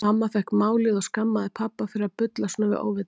Mamma fékk málið og skammaði pabba fyrir að bulla svona við óvitann.